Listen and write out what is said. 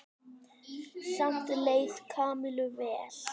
Samt leið Kamillu vel.